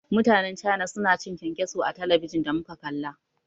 Mutanen cana suna cin kyankyaso a talabijin da muka kalla.